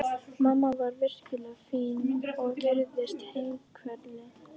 Mamma var virkilega fín og virtist himinlifandi.